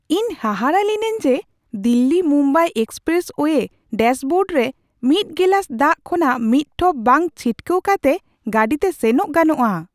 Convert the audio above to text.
ᱤᱧ ᱦᱟᱦᱟᱲᱟᱜ ᱞᱤᱱᱟᱹᱧ ᱡᱮ ᱫᱤᱞᱞᱤᱼᱢᱩᱢᱵᱟᱭ ᱮᱠᱥᱯᱨᱮᱥᱳᱭᱮ ᱰᱟᱥᱵᱳᱨᱰ ᱨᱮ ᱢᱤᱫ ᱜᱮᱞᱟᱥ ᱫᱟᱜ ᱠᱷᱚᱱᱟᱜ ᱢᱤᱫ ᱴᱷᱚᱯ ᱵᱟᱝ ᱪᱷᱤᱴᱠᱟᱹᱣ ᱠᱟᱛᱮ ᱜᱟᱹᱰᱤᱛᱮ ᱥᱮᱱᱚᱜ ᱜᱟᱱᱚᱜᱼᱟ ᱾